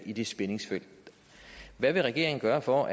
i det spændingsfelt hvad vil regeringen gøre for